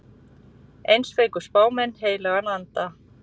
Eins fengu spámenn heilagan anda.